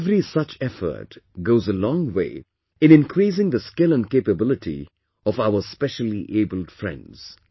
Every such effort goes a long way in increasing the skill and capability of our speciallyabled friends